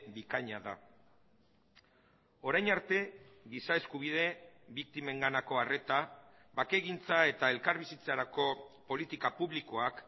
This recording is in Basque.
bikaina da orain arte giza eskubide biktimenganako arreta bakegintza eta elkarbizitzarako politika publikoak